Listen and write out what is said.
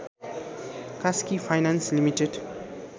Kaski finance limited